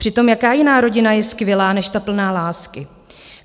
Přitom jaká jiná rodina je skvělá, než ta plná lásky?